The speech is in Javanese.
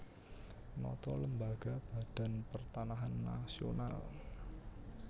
Nata lembaga Badan Pertanahan Nasional